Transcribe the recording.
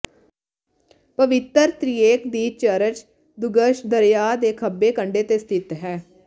ਪਵਿੱਤਰ ਤ੍ਰਿਏਕ ਦੀ ਚਰਚ ਦੁੱਗੱਛ ਦਰਿਆ ਦੇ ਖੱਬੇ ਕੰਢੇ ਤੇ ਸਥਿਤ ਹੈ